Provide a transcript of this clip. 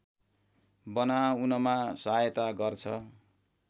बनाउनमा सहायता गर्छ